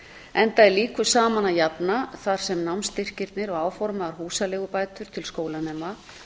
enda er líku saman að jafna þar sem námsstyrkirnir og áformaðar húsaleigubætur til skólanema